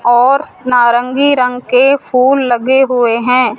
और नारंगी रंग के फूल लगे हुए हैं।